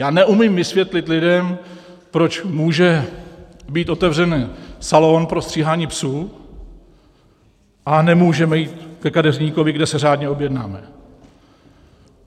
Já neumím vysvětlit lidem, proč může být otevřen salon pro stříhání psů, a nemůžeme jít ke kadeřníkovi, kde se řádně objednáme.